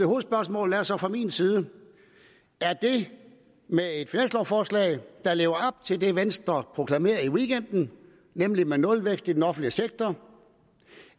hovedspørgsmålet er så fra min side er det med et finanslovforslag der lever op til det venstre proklamerede i weekenden nemlig nulvækst i den offentlige sektor